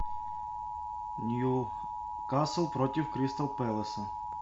ньюкасл против кристал пэласа